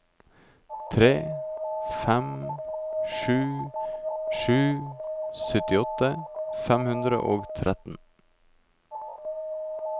tre fem sju sju syttiåtte fem hundre og tretten